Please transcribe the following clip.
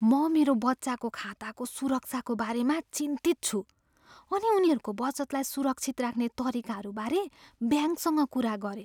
म मेरो बच्चाको खाताको सुरक्षाको बारेमा चिन्तित छु अनि उनीहरूको बचतलाई सुरक्षित राख्ने तरिकाहरूबारे ब्याङ्कसँग कुरा गरेँ।